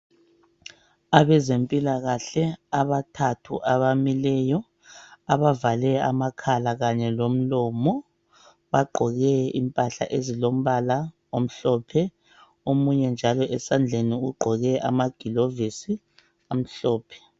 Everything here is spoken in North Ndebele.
Abezempilakahle abathathu abamileyo abavale amakhala kanye lomlomo bagqoke impahla ezilombala omhlophe omunye esandleni ugqoke amagilovisi amhlophe .